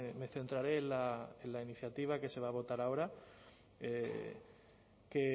me centraré en la iniciativa que se va a votar ahora que